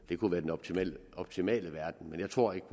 det kunne være den optimale optimale verden men jeg tror ikke